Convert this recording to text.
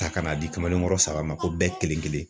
Ta ka na di kamalen kɔrɔ saba ma ko bɛɛ kelen kelen